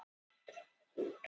Þungfært um Vopnafjarðarheiði